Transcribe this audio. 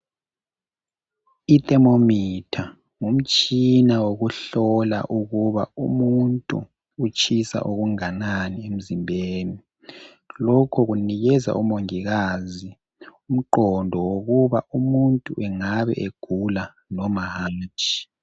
Ithemomitha ngumtshina wokuhlola ukuba umuntu utshisa okunganani emzimbeni. Lokhu kunikeza omongikazi umqondo wokuba umuntu engabe egula noma hatshi.